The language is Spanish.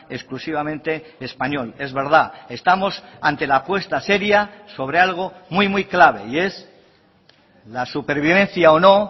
exclusivamente español es verdad estamos ante la apuesta seria sobre algo muy muy clave y es la supervivencia o no